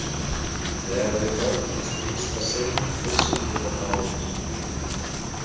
Þegar við kvöddumst hinsta sinn vissum við það báðir.